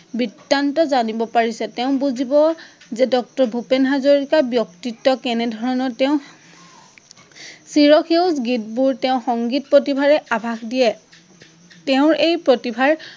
বৃতান্ত জানিব পাৰিছে, তেঁঁও বুজিৱ যে ডক্টৰ ভূপেন হাজৰিকাৰ ব্যক্তিত্ব কেনে ধৰনৰ, তেঁও চিৰ সেঁউজ গীতবোৰ তেঁও সংগীত প্ৰতিভাৰে আভাষ দিয়ে